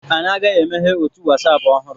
Anyị ga emeghe otu Wasapụ ọhụrụ